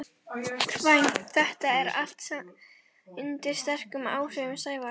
kvæmt þetta allt saman undir sterkum áhrifum Sævars.